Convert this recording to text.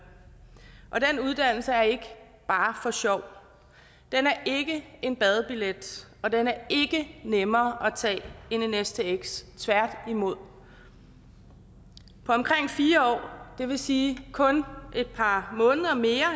og den uddannelse er ikke bare for sjov den er ikke en badebillet og den er ikke nemmere at tage end en stx tværtimod på omkring fire år det vil sige kun et par måneder mere